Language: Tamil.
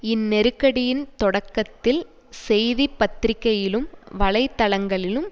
இந்நெருக்கடியின் தொடக்கத்தில் செய்தி பத்திரிகையிலும் வலை தளங்களிலும்